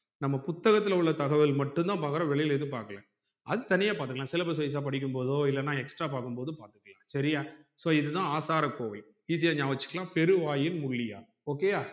நம்ம புத்தகத்துல உள்ள தகவல் மட்டும் தான் பாக்றோம் வெளிய எதுவும் பாக்கள அத தனியா பாத்துக்கலாம் syllabus wise ஆ படிக்கும் போதோ இல்லனா extra பாக்கும்போது பாத்துக்கலாம்சரியா ஆசாரகோவை easy யா ஞாபகம் வச்சிக்கல்லாம் பெருவாயின் முள்ளியார் ok யா